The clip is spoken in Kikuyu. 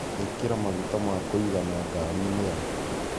Ĩkĩra magũta ma kũĩgana ngarĩĩnĩ yakũ.